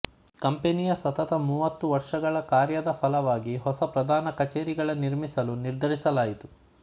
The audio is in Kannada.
ಕಂಪನಿಯ ಸತತ ಮೂವತ್ತು ವರ್ಷಗಳ ಕಾರ್ಯದ ಫಲವಾಗಿ ಹೊಸ ಪ್ರಧಾನ ಕಚೇರಿಗಳ ನಿರ್ಮಿಸಲು ನಿರ್ಧರಿಸಲಾಯಿತು